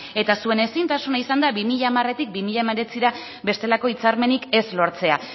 eta zuen ezintasuna izan da bi mila hamaretik bi mila hemeretzira bestelako hitzarmenik ez lortzea